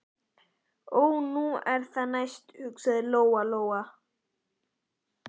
Ó, nú er það næst, hugsaði Lóa Lóa.